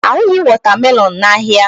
A hụghị watermelon n'ahịa.